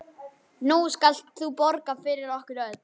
Nú skalt þú borga fyrir okkur öll.